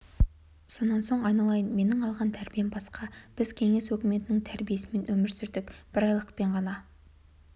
сонан соң айналайын менің алған тәрбием басқа біз кеңес өкіметінің тәрбиесімен өмір сүрдік бір айлықпен ғана